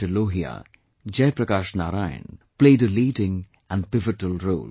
Lohia, Jaiprakash Narain played a leading and pivotal role